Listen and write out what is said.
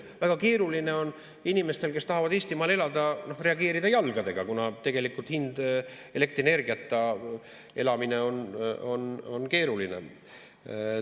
Väga keeruline on inimestel, kes tahavad Eestimaal elada, reageerida jalgadega, kuna elektrienergiata elamine on keeruline.